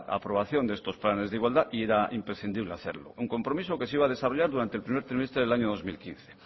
aprobación de estos planes de igualdad y era imprescindible hacerlo un compromiso que se iba a desarrollar durante el primer trimestre del año dos mil quince